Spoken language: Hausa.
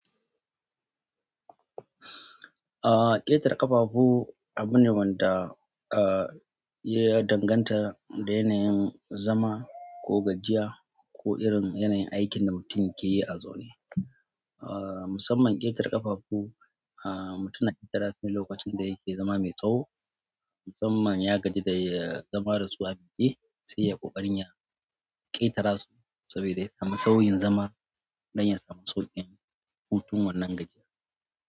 Ƙetare ƙafafu abune wanda ya danganta da yanayin zama, ko gajiya ko irin yanayin aikin da mutum keyi a zaune. Ah, musamman ƙetare ƙafafu, ah, mutum na ƙetara su ne lokacin da yake zama mai tsaho. Musamman ya gaji da ya zama dasu a miƙe, sai ya ƙoƙarin ya ƙetara su saboda ya samu sauyin zama don ya samu sauƙin hutun wannan gajiya.